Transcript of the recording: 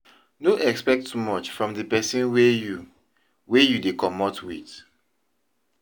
No expect too much from di person wey you wey you dey comot with